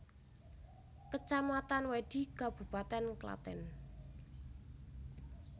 Kecamatan Wedhi Kabupaten Klaten